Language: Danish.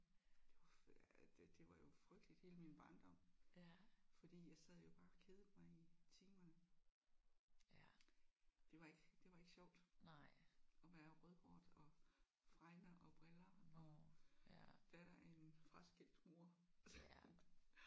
Det var det det var jo frygteligt hele min barndom fordi jeg sad jo bare og kedede mig i timerne. Det var ikke det var ikke sjovt at være rødhåret og fregner og briller og datter af en fraskilt mor